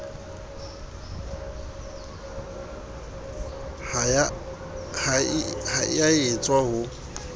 ha e a etswa ho